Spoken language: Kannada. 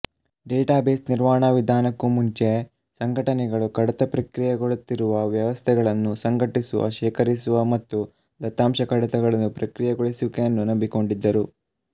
ಡೇಟಾಬೇಸ್ ನಿರ್ವಹಣಾ ವಿಧಾನಕ್ಕೂ ಮುಂಚೆ ಸಂಘಟನೆಗಳು ಕಡತ ಪ್ರಕ್ರಿಯೆಗೊಳ್ಳುತ್ತಿರುವ ವ್ಯವಸ್ಥೆಗಳನ್ನು ಸಂಘಟಿಸುವ ಶೇಖರಿಸುವ ಮತ್ತು ದತ್ತಾಂಶ ಕಡತಗಳನ್ನು ಪ್ರಕ್ರಿಯೆಗೊಳಿಸುವಿಕೆಯನ್ನು ನಂಬಿಕೊಂಡಿದ್ದರು